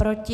Proti?